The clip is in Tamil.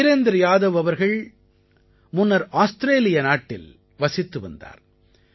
வீரேந்த்ர யாதவ் அவர்கள் முன்னர் ஆஸ்த்ரேலிய நாட்டில் வசித்து வந்தார்